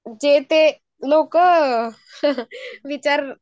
जे ते लोकं विचार